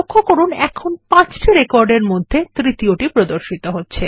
লক্ষ্য করুন এখানে পাঁচটি রেকর্ড এর মধ্যে তৃতীয়টি প্রদর্শিত হচ্ছে